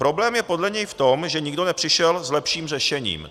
Problém je podle něj v tom, že nikdo nepřišel s lepším řešením.